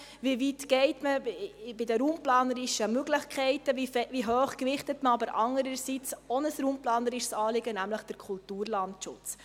Wie weit geht man einerseits bei den raumplanerischen Möglichkeiten, und wie hoch gewichtet man andererseits ein anderes raumplanerisches Anliegen, nämlich den Kulturlandschutz?